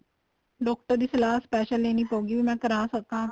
doctor ਦੀ ਸਲਾਹ special ਲੈਣੀ ਪਹੁਗੀ ਵੀ ਮੈਂ ਕਰਾ ਸਕਾ